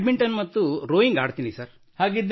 badminton ಮತ್ತು rowing Badminton and ಥಾನ್ರೋವಿಂಗ್